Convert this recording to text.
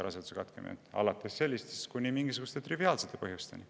Alates sellistest kuni mingisuguste triviaalsete põhjusteni.